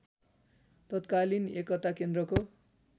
तत्कालीन एकता केन्द्रको